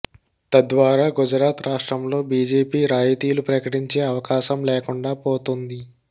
తద్వారా గుజరాత్ రాష్ట్రంలో బీజేపీ రాయితీలు ప్రకటించే అవకాశం లేకుండా పోతుంది